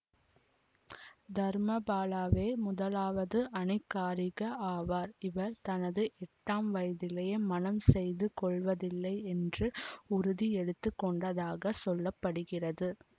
தர்மபாலவே முதலாவது அனகாரிக ஆவார் இவர் தனது எட்டாம் வயதிலேயே மணம் செய்து கொள்வதில்லை என்று உறுதி எடுத்து கொண்டதாகச் சொல்ல படுகிறது